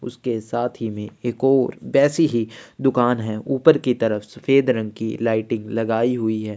उसके साथ ही में एक और वैसी ही दुकान है ऊपर की तरफ सफ़ेद रंग की लाइटिंग लगाई हुई है।